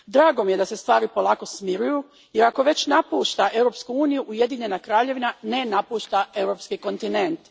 Drago mi je da se stvari polako smiruju, jer ako već napušta Europsku uniju Ujedinjena Kraljevina ne napušta europski kontinent.